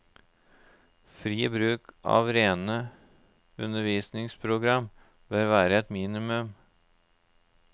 Fri bruk av rene undervisningsprogram bør være et minimum.